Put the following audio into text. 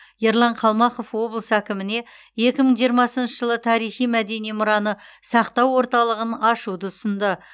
ерлан қалмақов облыс әкіміне екі мың жиырмасыншы жылы тарихи мәдени мұраны сақтау орталығын ашуды ұсынды